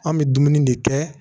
An bɛ dumuni de kɛ